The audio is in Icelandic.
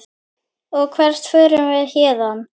Og hvert förum við héðan?